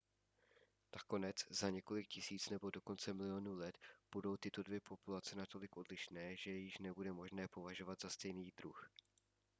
nakonec za několik tisíc nebo dokonce milionů let budou tyto dvě populace natolik odlišné že je již nebude možné považovat za stejný druh